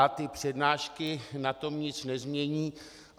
A ty přednášky na tom nic nezmění.